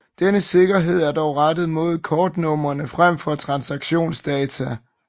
Denne sikkerhed er dog rettet mod kortnumre frem for transaktionsdata